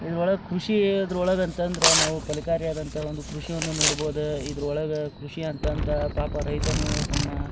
ಈದ್ ಒಳಗ್ ಕೃಷಿ ಈ ದ್ರೊಳಗ್ ಅಂತ್ ಅಂದ್ರೆ ನಾವು ಫಲಕಾರಿ ಆದಂತ ಒಂದು ಕೃಷಿ ಅನ್ನು ನೋಡಬಹುದು ಇದ್ರೊಳಗ್ ಕೃಷಿ ಅಂತ್ ಅಂದ್ರ ಪಾಪ ರೈತನು ತಮ್ಮ--